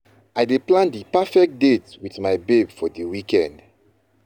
I dey plan di perfect date wit my babe for di weekend.